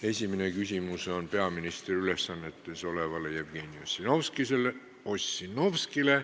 Esimene küsimus on peaministri ülesannetes olevale Jevgeni Ossinovskile.